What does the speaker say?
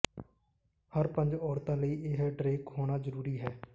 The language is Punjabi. ਹਰ ਪੰਜ ਔਰਤਾਂ ਲਈ ਇਹ ਡਰੇਕ ਹੋਣਾ ਜ਼ਰੂਰੀ ਹੈ